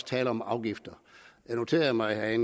tale om afgifter jeg noterede mig at